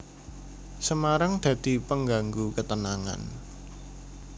Semarang dadi penganggu ketenangan